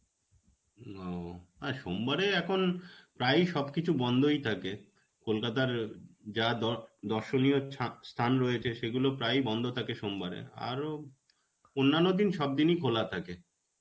ও আর সোমবারে এখন প্রায়ই সবকিছু বন্ধই থাকে. কলকাতার যা দ~ দর্শনীয় স্থা~ স্থান রয়েছে সেগুলো প্রায়ই বন্ধ থাকে সোমবারে. আরও অন্নান্য দিন সব দিনই খোলা থাকে.